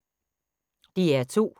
DR2